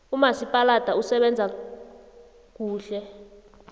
umasipaladi usebenza kuhle